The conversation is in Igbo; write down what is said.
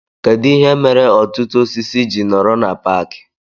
Kedụ ihe mere ọtụtụ osisi ji nọrọ na paaki